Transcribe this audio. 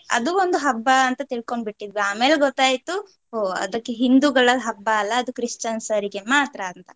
ಅದು ಒಂದು ಹಬ್ಬ ಅಂತ ತಿಳ್ಕೊಂಡ್ಬಿಟ್ಟಿದ್ವಿ ಆಮೇಲ್ ಗೊತಾಯ್ತು ಹೋ ಅದಕ್ಕೆ ಹಿಂದೂಗಳ ಹಬ್ಬ ಅಲ್ಲ ಅದು Christians ಅವರಿಗೆ ಮಾತ್ರ ಅಂತ.